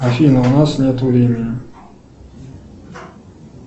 афина у нас нет времени